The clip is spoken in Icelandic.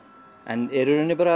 en er í rauninni